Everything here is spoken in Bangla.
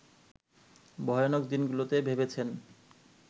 ভয়ানক দিনগুলোতে ভেবেছেন